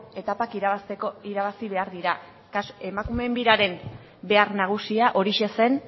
etapak irabazteko irabazi behar dira emakumeen biraren behar nagusia horixe zen